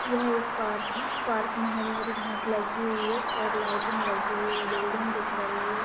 यह एक पार्क है। पार्क में हरी-हरी घांस लगी हुई है और लाइटिंग लगी हुई है। बिल्डिंग दिख रही है।